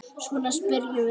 Svona spyrjum við aldrei.